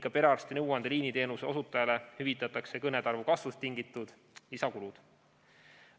Ka perearsti nõuandeliini teenuse osutajale hüvitatakse kõnede arvu kasvust tingitud lisakulud.